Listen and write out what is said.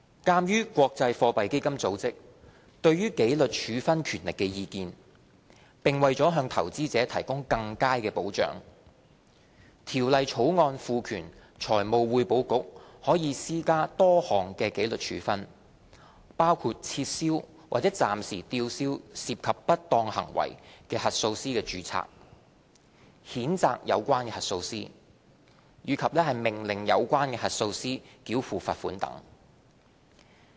鑒於國際貨幣基金組織對紀律處分權力的意見，並為了向投資者提供更佳保障，《條例草案》賦權財務匯報局可施加多項紀律處分，包括撤銷或暫時吊銷涉及不當行為的核數師的註冊、譴責有關核數師，以及命令有關核數師繳付罰款等。